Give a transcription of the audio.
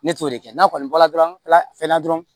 Ne t'o de kɛ n'a kɔni bɔra dɔrɔn fɛn na dɔrɔn